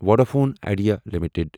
Vodafone Idea limited